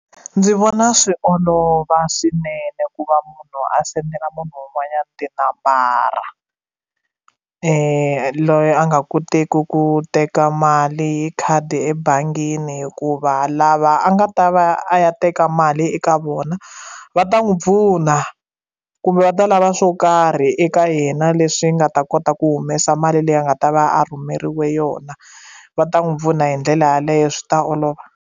Ndzi vona swi olova swinene ku va munhu a sendela munhu un'wanyana tinambara loyi a nga koteki ku teka mali hi khadi ebangini hikuva lava a nga va ta va ya a ya teka mali eka vona va ta n'wi pfuna kumbe va ta lava swo karhi eka yena leswi nga ta kota ku humesa mali leyi a nga ta va a rhumeriwe yona va ta n'wi pfuna hi ndlela yeleyo swi ta olova.